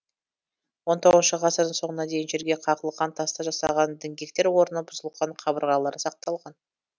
он тоғызыншы ғасырдың соңына дейін жерге қағылған тастан жасаған діңгектер орны бұзылған қабырғалары сақталған